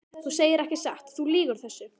Þú segir ekki satt, þú lýgur þessu!